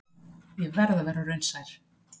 Ég verð að vera raunsær.